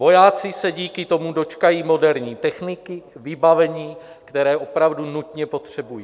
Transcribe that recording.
Vojáci se díky tomu dočkají moderní techniky, vybavení, které opravdu nutně potřebují.